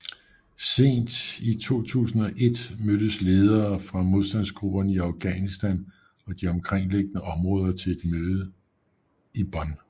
Sent i 2001 mødtes ledere fra modstandsgrupperne i Afghanistan og de omkringliggende områder til et mødte i Bonn